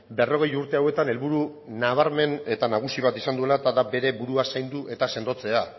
berrogei urte hauetan helburu nabarmen eta nagusi bat izan duela eta da bere burua zaindu eta sendotzea